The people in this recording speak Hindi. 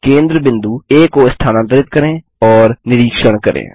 केंद्र बिंदु आ को स्थानांतरित करें और निरीक्षण करें